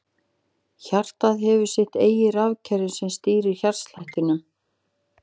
Hjartað hefur sitt eigið rafkerfi sem stýrir hjartslættinum.